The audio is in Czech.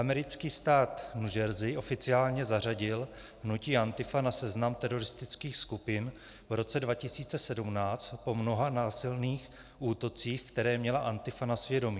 Americký stát New Jersey oficiálně zařadil hnutí Antifa na seznam teroristických skupin v roce 2017 po mnoha násilných útocích, které měla Antifa na svědomí.